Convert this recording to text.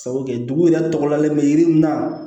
Sabu kɛ dugu yɛrɛ tɔgɔ lalen bɛ yiri mun na